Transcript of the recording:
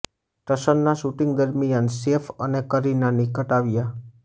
ટશનના shooting દરમિયાન સેફ અને કરીના નિકટ આવ્યા